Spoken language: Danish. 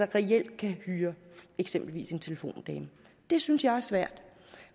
reelt kan hyre eksempelvis en telefondame det synes jeg er svært